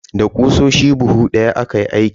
Da ƙusoshi buhu daya aka yi aikin.